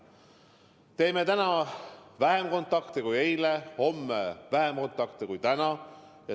Lubame endale täna vähem kontakte kui eile, homme vähem kontakte kui täna!